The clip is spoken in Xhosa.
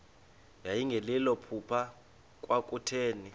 yayingelilo phupha kwakutheni